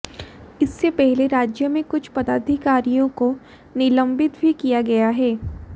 इससे पहले राज्य में कुछ पदाधिकारियों को निलंबित भी किया गया है